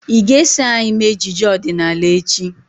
Ị ga-eso anyị mee ejije ọdịnala echi?